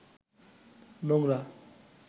নোংরা